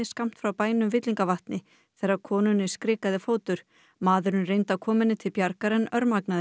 skammt frá bænum Villingavatni þegar konunni skrikaði fótur maðurinn reyndi að koma henni til bjargar en